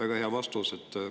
Väga hea vastus!